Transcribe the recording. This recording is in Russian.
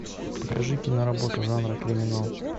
покажи киноработу жанра криминал